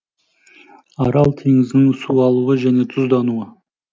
арал теңізінің суалуы және тұздануы